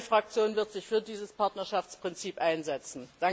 Meine Fraktion wird sich für dieses Partnerschaftsprinzip einsetzen.